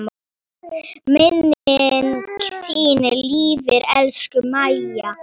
Minning þín lifir, elsku Mæja.